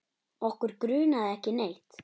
Okkur grunaði ekki neitt.